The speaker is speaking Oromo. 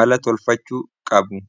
mala tolfachuu qabu